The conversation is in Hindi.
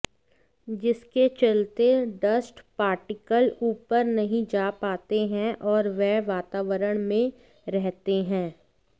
जिसके चलते डस्ट पार्टिकल ऊपर नहीं जा पाते हैं और वह वातावरण में रहते हैं